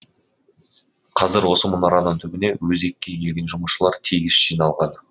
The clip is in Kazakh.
қазір осы мұнараның түбіне өзекке келген жұмысшылар тегіс жиналған